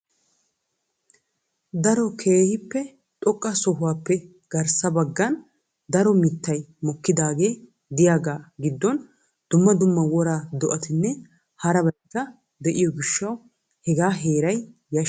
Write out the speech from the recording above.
daro keehippe xoqqa sohuwaappe garsssa baggan daro mittay mokkidaagee de'iyaaga giddon dumma dumma wora do'atinne harabaykka de'iyo gishshaw hega heeray yashshees.